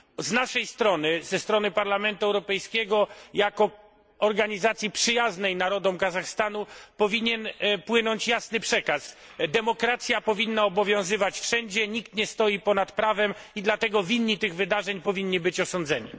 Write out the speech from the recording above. Z naszej strony, ze strony Parlamentu Europejskiego, jako organizacji przyjaznej narodom Kazachstanu, powinien płynąć jasny przekaz demokracja powinna obowiązywać wszędzie, nikt nie stoi ponad prawem i dlatego winni tych wydarzeń powinni być osądzeni.